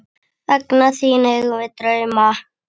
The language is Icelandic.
Vegna þín eigum við drauma.